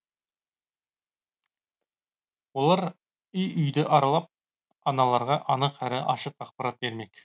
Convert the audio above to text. олар үй үйді аралап аналарға анық әрі ашық ақпарат бермек